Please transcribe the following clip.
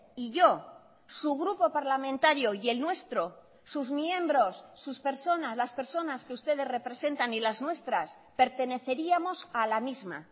y yo su grupo parlamentario y el nuestro sus miembros sus personas las personas que ustedes representan y las nuestras perteneceríamos a la misma